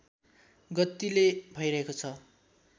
गतिले भइरहेको छ